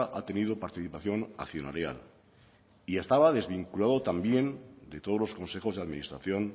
ha tenido participación accionarial y estaba desvinculado también de todos los consejos de administración